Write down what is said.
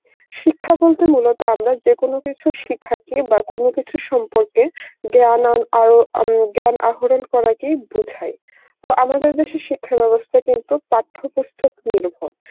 শিক্ষা বলতে মূলত আমরা যে কোনো কিছু শেখা কে বা কোন কিছুর সম্পর্কে জ্ঞান অং আও আম জ্ঞান আহরণ করা কেই বোঝায় তো আমাদের দেশের শিক্ষা ব্যবস্থা কিন্তু পাঠ্য পুস্তক নির্ভর